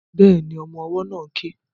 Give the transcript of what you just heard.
Bẹ́ẹ̀ni, ọmọ ọwọ́ náà ń ké